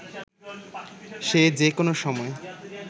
সে যে কোনো সময়